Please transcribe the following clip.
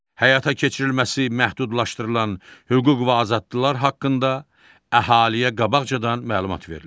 Həyata keçirilməsi məhdudlaşdırılan hüquq və azadlıqlar haqqında əhaliyə qabaqcadan məlumat verilir.